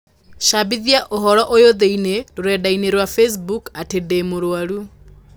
cabithia ũhoro ũyũ thĩinĩ rũrenda-inī rũa facebook atĩ ndĩ mũrũaru.